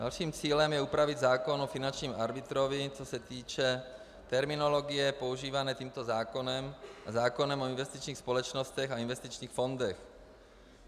Dalším cílem je upravit zákon o finančním arbitrovi, co se týče terminologie používané tímto zákonem a zákonem o investičních společnostech a investičních fondech.